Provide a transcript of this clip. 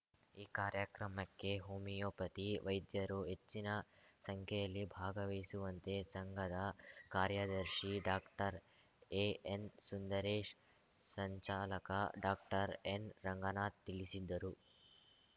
ಈ ಕಾರ್ಯಕ್ರಮಕ್ಕೆ ಹೋಮಿಯೋಪತಿ ವೈದ್ಯರು ಹೆಚ್ಚಿನ ಸಂಖ್ಯೆಯಲ್ಲಿ ಭಾಗವಹಿಸುವಂತೆ ಸಂಘದ ಕಾರ್ಯದರ್ಶಿ ಡಾಕ್ಟರ್ಎಎನ್‌ಸುಂದರೇಶ್ ಸಂಚಾಲಕ ಡಾಕ್ಟರ್ಎನ್ರಂಗನಾಥ್ ತಿಳಿಸಿದ್ದರು